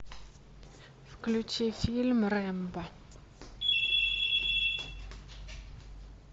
включи фильм рэмбо